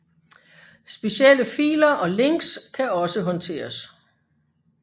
Specielle filer og links kan også håndteres